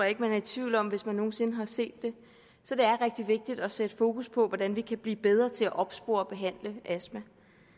ikke man er i tvivl om hvis man nogen sinde har set det så det er rigtig vigtigt at sætte fokus på hvordan vi kan blive bedre til at opspore og behandle astma